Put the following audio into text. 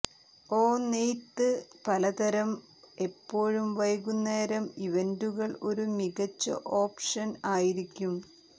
ഓ നെയ്ത്ത് പലതരം എപ്പോഴും വൈകുന്നേരം ഇവന്റുകൾ ഒരു മികച്ച ഓപ്ഷൻ ആയിരിക്കും